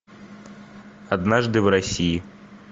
однажды в россии